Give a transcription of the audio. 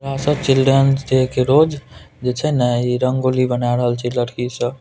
यहाँ सब children day के रोज जे छे ना रंगोली बना रहल छे लड़की सब।